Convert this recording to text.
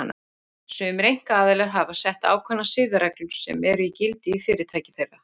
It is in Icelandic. Sumir einkaaðilar hafa sett ákveðnar siðareglur sem eru í gildi í fyrirtæki þeirra.